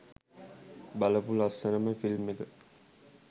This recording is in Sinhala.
බලපු ලස්සනම ෆිල්ම් එක.